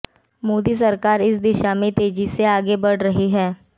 मोदी सरकार इस दिशा में तेजी से आगे बढ़ रही है